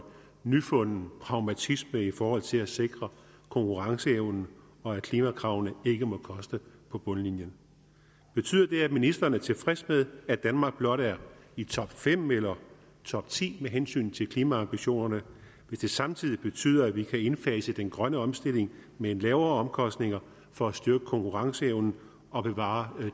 nyfunden pragmatisme i forhold til at sikre konkurrenceevne og at klimakravene ikke må koste på bundlinjen betyder det at ministeren er tilfreds med at danmark blot er i topfem eller topti med hensyn til klimaambitioner hvis det samtidig betyder at vi kan indfase den grønne omstilling med lavere omkostninger for at styrke konkurrenceevnen og bevare